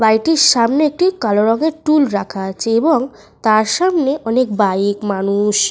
বাড়িটির সামনে একটি কালো রঙের টুল রাখা আছে এবং তার সামনে অনেক বাইক মানুষ।